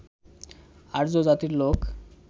আর্য জাতির লোক